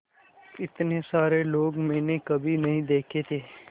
इतने सारे लोग मैंने कभी नहीं देखे थे